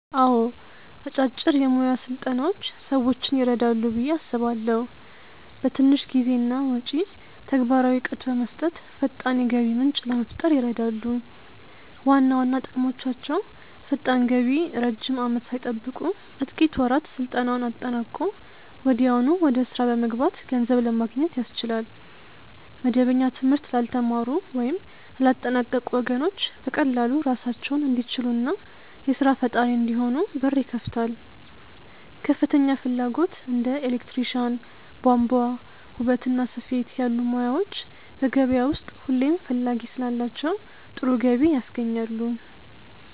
አዎ አጫጭር የሞያ ስልጠናዎች ሰዎችን ይረዳሉ ብዬ አስባለሁ። በትንሽ ጊዜና ወጪ ተግባራዊ እውቀት በመስጠት ፈጣን የገቢ ምንጭ ለመፍጠር ይረዳሉ። ዋና ዋና ጥቅሞቻቸው ፈጣን ገቢ ረጅም አመት ሳይጠብቁ በጥቂት ወራት ስልጠናውን አጠናቆ ወዲያውኑ ወደ ስራ በመግባት ገንዘብ ለማግኘት ያስችላል። መደበኛ ትምህርት ላልተማሩ ወይም ላላጠናቀቁ ወገኖች በቀላሉ ራሳቸውን እንዲችሉና የስራ ፈጣሪ እንዲሆኑ በር ይከፍታል። ከፍተኛ ፍላጎት እንደ ኤሌክትሪሻን፣ ቧንቧ፣ ውበትና ስፌት ያሉ ሞያዎች በገበያው ውስጥ ሁሌም ፈላጊ ስላላቸው ጥሩ ገቢ ያስገኛሉ።